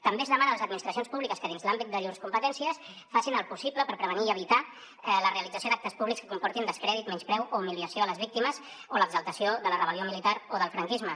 també es demana a les administracions públiques que dins l’àmbit de llurs competències facin el possible per prevenir i evitar la realització d’actes públics que comportin descrèdit menyspreu o humiliació a les víctimes o l’exaltació de la rebellió militar o del franquisme